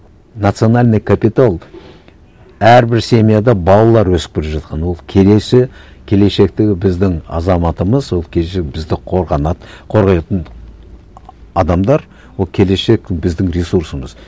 национальный капитал әрбір семьяда балалар өсіп келе жатқан ол келесі келешектегі біздің азаматымыз ол келешек бізді қорғайтын адамдар ол келешек біздің ресурсымыз